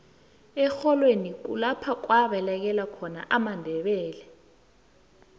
erholweni kulapha kwabalekela amandebele